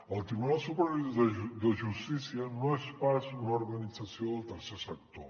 el tribunal superior de justícia no és pas una organització del tercer sector